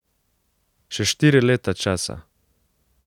Še štiri leta česa?